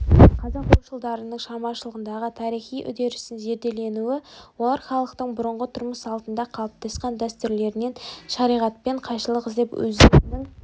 қазақ ойшылдарының шығармашылығындағы тарихи үдерістің зерделенуі олар халықтың бұрынғы тұрмыс салтында қалыптасқан дәстүрлерінен шариғатпен қайшылық іздеп өздерінің